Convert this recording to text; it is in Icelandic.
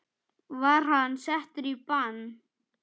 Var hann settur í bann?